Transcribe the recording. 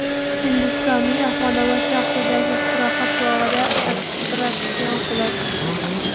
Hindistonning Ahmadobod shahridagi istirohat bog‘ida attraksion qulab tushdi.